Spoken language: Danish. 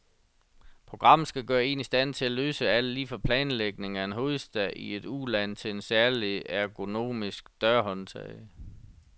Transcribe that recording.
Programmet skal gøre en i stand til at løse alt, lige fra planlægning af en hovedstad i et uland til et særlig ergonomisk dørhåndtag.